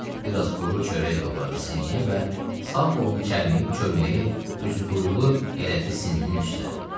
Bir az quru çörək doğradı sinyə və sağ qolunu çərməyib çölməyi üzü quyulu elədi sininin üstə.